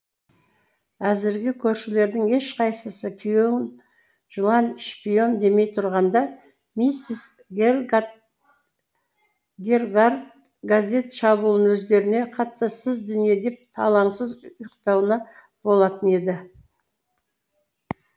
әзірге көршілердің ешқайсысы күйеуін жылан шпион демей тұрғанда миссис гергарт газет шабуылын өздеріне қатыссыз дүние деп алаңсыз ұйықтауына болатын еді